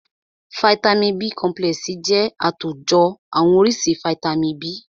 Vàìtamínií B complexi jẹ́ àtòjọ àwọn oríṣi vàìtamínií B.